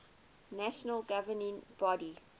national governing body